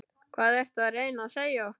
Hvað ertu að reyna að segja okkur?